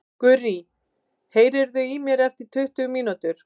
Gurrý, heyrðu í mér eftir tuttugu mínútur.